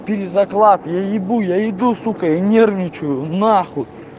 перезаклад я ебу я иду сука и нервничаю нахуй